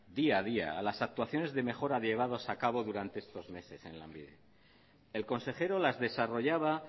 día a día a las actuaciones de mejora llevadas a cabo durante estos meses en lanbide el consejero las desarrollaba